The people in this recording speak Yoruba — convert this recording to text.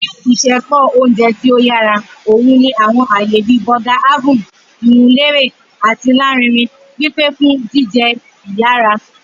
Ni isẹpo oúnjẹ ti o yara, o ni àwọn aaye bi Burger Haven, iwunlere ati larinrin, pipe fun jijẹ iyara.